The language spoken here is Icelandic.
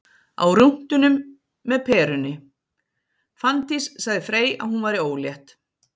Á rúntinum með Perunni: Fanndís sagði Frey að hún væri ólétt